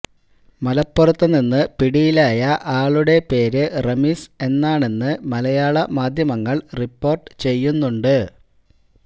മലപ്പുറത്തു നിന്ന് പിടിയിലായ ആളുടെ പേര് റമീസ് എന്നാണെന്ന് മലയാള മാധ്യമങ്ങൾ റിപ്പോർട്ട് ചെയ്യുന്നുണ്ട്